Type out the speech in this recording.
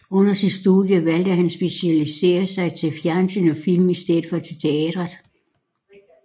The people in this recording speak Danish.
Under sit studie valgte han at specialisere sig til fjernsyn og film i stedet for til teateret